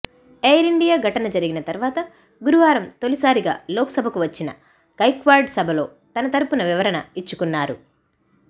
ఎయిరిండియా ఘటన జరిగిన తర్వాత గురువారం తొలిసారిగా లోక్సభకు వచ్చిన గైక్వాడ్ సభలో తన తరపు వివరణ ఇచ్చుకున్నారు